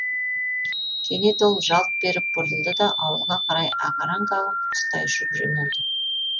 кенет ол жалт беріп бұрылды да ауылға қарай ағараң қағып құстай ұшып жөнелді